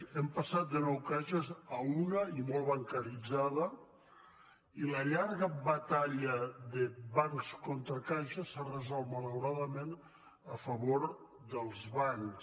hem passat de nou caixes a una i molt bancaritzada i la llarga batalla de bancs contra caixes s’ha resolt malauradament a favor dels bancs